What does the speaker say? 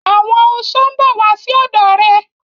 Àwọn oṣó mbọ wasi ọdọ rẹ.